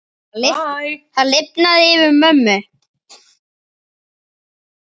Það lifnaði yfir mömmu.